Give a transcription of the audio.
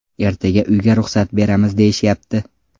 Ertaga uyga ruxsat beramiz deyishyapti.